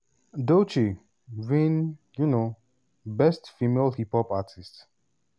doechii win um best female hip hop artist.